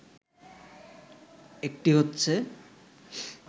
একটি হচ্ছে